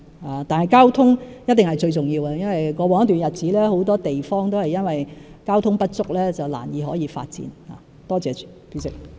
然而，交通一定是最重要的，因為在過往一段日子，很多地方都是因為交通設施不足而難以發展。